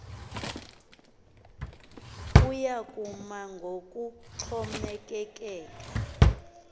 ukuya kuma ngokuxhomekeke